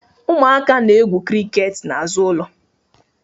Ụmụaka na-egwu criket n'azụ ụlọ